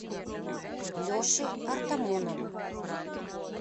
леше артамонову